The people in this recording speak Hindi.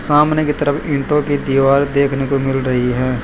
सामने की तरफ ईंटों की दीवार देखने को मिल रही है।